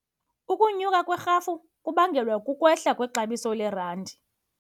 Ukunyuka kwerhafu kubangelwa kukwehla kwexabiso lerandi.